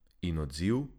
In odziv?